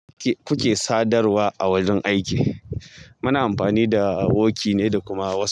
Kuke sadarwa a wurin aiki, muna amfani da woki ne da kuma whatsap.